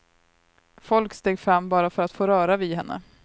Folk steg fram bara för att få röra vid henne.